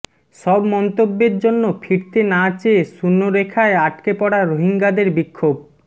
সব মন্তব্যের জন্য ফিরতে না চেয়ে শূন্যরেখায় আটকে পড়া রোহিঙ্গাদের বিক্ষোভ